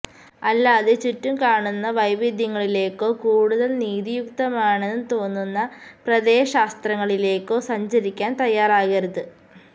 അല്ലാതെ ചുറ്റും കാണുന്ന വൈവിദ്ധ്യങ്ങളിലേക്കോ കൂടുതൽ നീതിയുക്തമാണെന്ന് തോന്നുന്ന പ്രത്യയശാസ്ത്രങ്ങളിലേക്കോ സഞ്ചരിക്കാൻ തയ്യാറാകരുത്